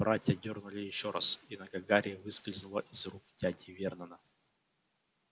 братья дёрнули ещё раз и нога гарри выскользнула из рук дяди вернона